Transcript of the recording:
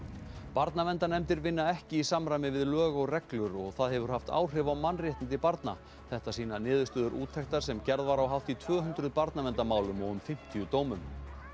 barnaverndarnefndir vinna ekki í samræmi við lög og reglur og það hefur haft áhrif á mannréttindi barna þetta sýna niðurstöður úttektar sem gerð var á hátt í tvöhundruð barnaverndarmálum og um fimmtíu dómum